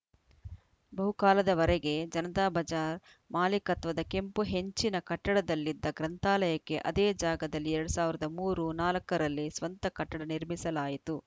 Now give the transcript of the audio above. ಬಹುಕಾಲದವರೆಗೆ ಜನತಾ ಬಜಾರ್‌ ಮಾಲಿಕತ್ವದ ಕೆಂಪು ಹೆಂಚಿನ ಕಟ್ಟಡದಲ್ಲಿದ್ದ ಗ್ರಂಥಾಲಯಕ್ಕೆ ಅದೇ ಜಾಗದಲ್ಲಿ ಎರಡ್ ಸಾವಿರದ ಮೂರು ನಾಲ್ಕ ರಲ್ಲಿ ಸ್ವಂತ ಕಟ್ಟಡ ನಿರ್ಮಿಸಲಾಯಿತು